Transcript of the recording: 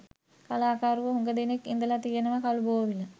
කලාකරුවෝ හුඟ දෙනෙක් ඉඳලා තියෙනවා කළුබෝවිල.